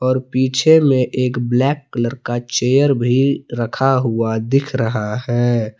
और पीछे में एक ब्लैक कलर का चेयर भी रखा हुआ दिख रहा है।